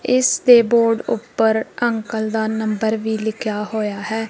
ਇਸਦੇ ਬੋਰਡ ਉੱਪਰ ਅੰਕਲ ਦਾ ਨੰਬਰ ਵੀ ਲਿਖਿਆ ਹੋਇਆ ਹੈ।